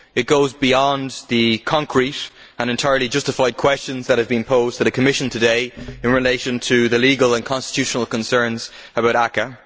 it goes beyond the concrete and entirely justified questions which have been posed to the Commission today in relation to the legal and constitutional concerns about ACAA.